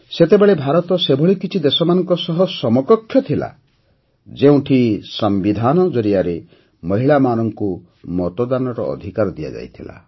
ସେତେବେଳେ ଭାରତ ସେଭଳି କିଛି ଦେଶମାନଙ୍କ ସହ ସମକକ୍ଷ ଥିଲା ଯେଉଁଠି ସମ୍ବିଧାନ ଜରିଆରେ ମହିଳାମାନଙ୍କୁ ମତଦାନର ଅଧିକାର ଦିଆଯାଇଥିଲା